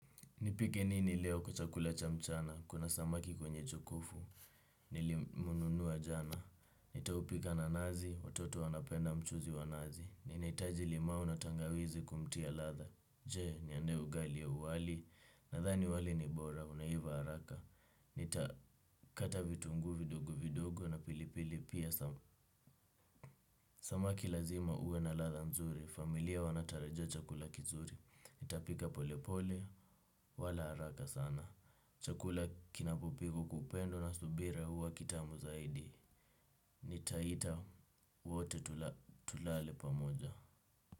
Nipike nini leo kwa chakula cha mchana, kuna samaki kwenye chungu nilimnunua jana, nitampika na nazi, watoto wanapenda mchuzi wa nazi, ninahiaji limau na tangawizi kumtia ladha, jee niandae ugali au wali, nadhani wali ni bora, unaiva haraka, nita kata vitungu vidogo vidogo na pilipili pia samaki lazima awe na ladha nzuri, familia wanatarajia chakula kizuri, nitapika pole pole, wala haraka sana. Chakula kinapopikwa kwa upendo na subira huwa kitamu zaidi. Nitaita wote tulale pamoja.